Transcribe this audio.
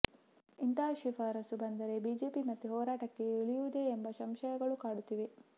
ಇಂತಹ ಶಿಫಾರಸು ಬಂದರೆ ಬಿಜೆಪಿ ಮತ್ತೆ ಹೋರಾಟಕ್ಕೆ ಇಳಿಯುವುದೇ ಎಂಬ ಸಂಶಯಗಳು ಕಾಡುತ್ತಿವೆ